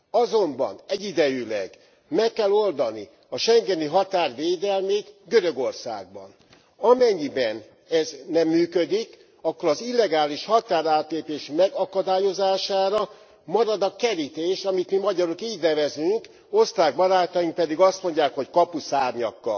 Azonban egyidejűleg meg kell oldani a schengeni határ védelmét Görögországban. Amennyiben ez nem működik, akkor az illegális határátlépés megakadályozására marad a kerítés, amit mi, magyarok így nevezünk, osztrák barátaink pedig azt mondják, hogy kapuszárnyak.